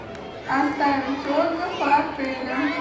оставить отзыв о отеле